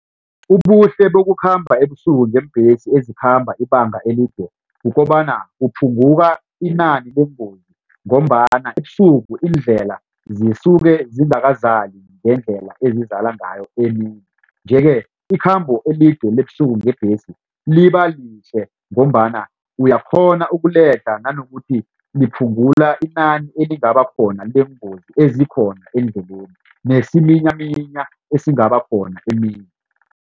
Ubuhle bokukhamba ebusuku ngeembhesi ezikhamba ibanga elide kukobana kuphunguka inani leengozi ngombana ebusuku indlela zisuke ziingakazali ngendlela esizala ngayo emini. Nje-ke ikhambo elide ebusuku ngebhesi libalihle ngombana uyakghona ukuledlha nanokuthi liphungula inani elingaba khona leengozi ezikhona eendleleni nesiminyaminya esingaba khona emini.